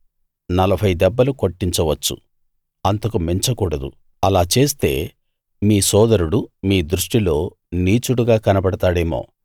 నలభై దెబ్బలు కొట్టించవచ్చు అంతకు మించకూడదు అలా చేస్తే మీ సోదరుడు మీ దృష్టిలో నీచుడుగా కనబడతాడేమో